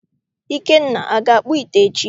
Ikenna, aga akpụ ite echi?